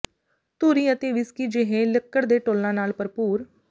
ਧੂਰੀ ਅਤੇ ਵਿਸਕੀ ਜਿਹੇ ਲੱਕੜ ਦੇ ਟੌਲਾਂ ਨਾਲ ਭਰਪੂਰ